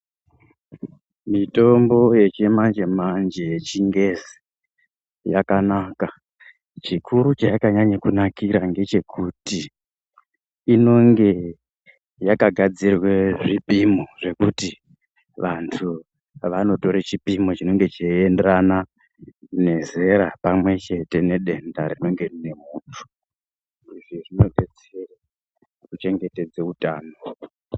Mitombo yechimanje manje yechingezi yakanaka. Chikuru chayakanyanya kunakira ngechekuti inonge yakagadzirwa zvipimo zvekuti vantu vanotora chipimo chinenge cheienderana nezera pamwechete nedenda rinenge rine muntu. Izvi zvinodetsera kuchengetedza utano.